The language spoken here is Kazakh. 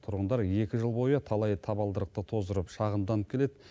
тұрғындар екі жыл бойы талай табалдырықты тоздырып шағымданып келеді